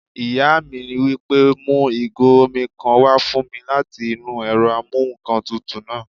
Ìyá mi wí pé "mu ìgò omi kan wá fún mi láti inú ẹ̀rọ amúǹkantutù náà!"